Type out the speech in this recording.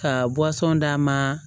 Ka d'a ma